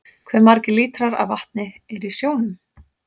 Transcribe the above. Hve margir lítrar af vatni eru í sjónum?